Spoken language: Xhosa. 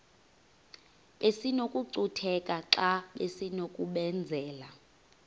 besinokucutheka xa besinokubenzela